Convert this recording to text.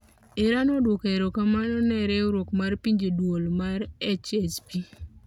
Iran oduoko erokamano ne Riwruok mar pinje, duol mar HSP